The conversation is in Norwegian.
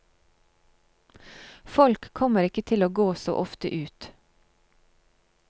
Folk kommer ikke til å gå så ofte ut.